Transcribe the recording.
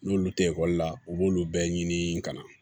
N'olu tɛ ekɔli la u b'olu bɛɛ ɲini ka na